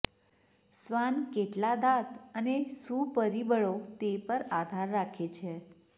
શ્વાન કેટલા દાંત અને શું પરિબળો તે પર આધાર રાખે છે